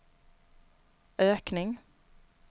ökning